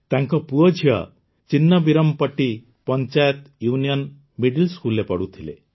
ତାଙ୍କ ପୁଅଝିଅ Chinnaveerampatti panchayat union middle ସ୍କୁଲରେ ପଢୁଥିଲେ